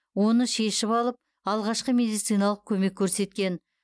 оны шешіп алып алғашқы медициналық көмек көрсеткен